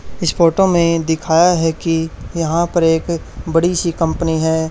इस फोटो में दिखाया है कि यहां पर एक बड़ी सी कंपनी है।